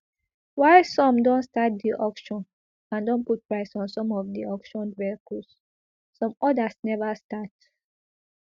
while some don start di auction and don put price on some of di auctioned vehicles some odas neva start